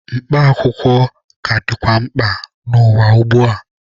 Mkpa akwụkwọ ka dịkwa mkpa n'ụwa ugbua.